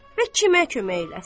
Və kimə kömək eləsin.